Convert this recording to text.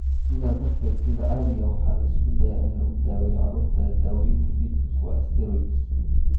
Sidaa darteed, sida caadiga ah waxaa la isku dayo in lagu daweeyo carruurta leh dawooyinka lidka ku ah steroids.